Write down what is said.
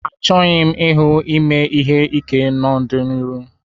Achọghị m ịhụ ime ihe ike n'ọdịniihu